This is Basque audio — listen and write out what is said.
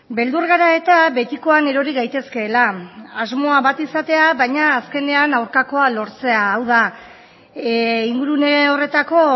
beldur gara eta betikoan erori gaitezkeela asmoa bat izatea baina azkenean aurkakoa lortzea hau da ingurune horretako